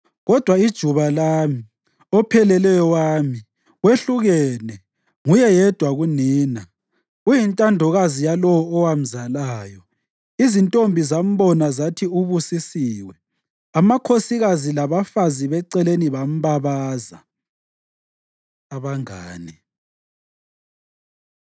kodwa ijuba lami, opheleleyo wami, wehlukene, nguye yedwa kunina, uyintandokazi yalowo owamzalayo. Izintombi zambona zathi ubusisiwe; amakhosikazi labafazi beceleni bambabaza. Abangane